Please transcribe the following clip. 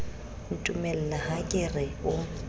ntumella ha ke re o